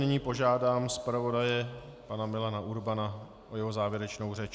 Nyní požádám zpravodaje, pana Milana Urbana, o jeho závěrečnou řeč.